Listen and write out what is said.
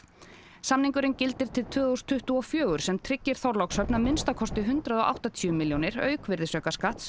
samningurinn gildir til tvö þúsund tuttugu og fjögur sem tryggir Þorlákshöfn að minnsta kosti hundrað og áttatíu milljónir auk virðisaukaskatts